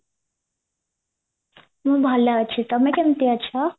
ମୁଁ ଭଲ ଅଛି ତମେ କେମିତି ଅଛ